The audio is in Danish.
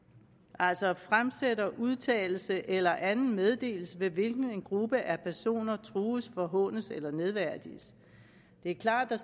altså fremsætter en udtalelse eller anden meddelelse ved hvilken en gruppe af personer trues forhånes eller nedværdiges det er klart at der